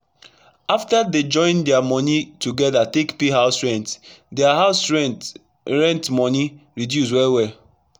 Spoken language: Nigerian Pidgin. after dey join dia moni togeda take pay house rent dia house rent rent moni reduce well welll